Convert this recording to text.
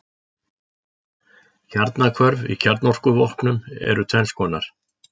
Kjarnahvörf í kjarnorkuvopnum eru tvenns konar.